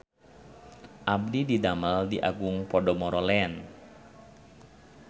Abdi didamel di Agung Podomoro Land